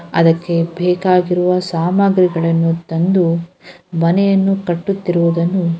ಅದಕ್ಕೆ ಬೇಕಾಗಿರುವ ಸಾಮಗ್ರಿಗಳನ್ನು ತಂದು ಮನೆಯನ್ನು ಕಟ್ಟುತಿರುವುದನ್ನು --